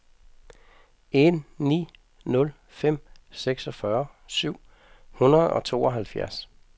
en ni nul fem seksogfyrre syv hundrede og tooghalvfjerds